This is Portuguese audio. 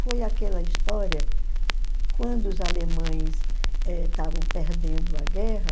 Foi aquela história, quando os alemães eh estavam perdendo a guerra,